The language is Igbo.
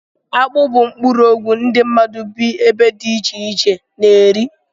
Akpụ bụ mkporoogwu ndị mmadụ bị ebe dị ichè iche na -eri